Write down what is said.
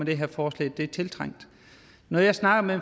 det her forslag det er tiltrængt når jeg snakker med